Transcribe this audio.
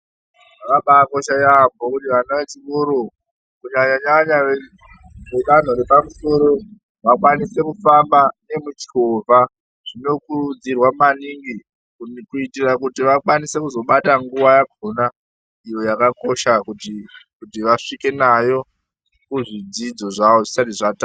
Zvakabakosha yambo kuti vana vechikora kunyanyanya vedanho repamusoro vakwanise kuhamba nemuchovha zvinokurudzirwa maningi kuitira kuti vakwanise kuzobata nguva yakhona iyo yakakosha kuti vakwanise kusvika kuzvidzidzo zvavo zvisati zvatanga.